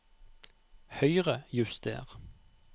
Høyrejuster